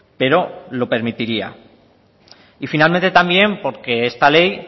pero lo permitiría y finalmente también porque esta ley